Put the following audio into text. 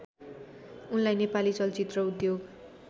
उनलाई नेपाली चलचित्र उद्योग